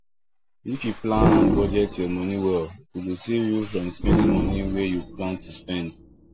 if you plan and budget your money well e go save you from spending money wey you plan to spend